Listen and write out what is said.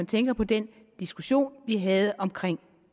tænker på den diskussion vi havde om